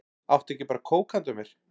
Áttu ekki bara kók handa mér?